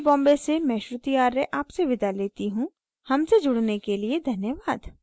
I I T Bombay से मैं श्रुति आर्य आपसे विदा लेती हूँ हमसे जुड़ने के लिए धन्यवाद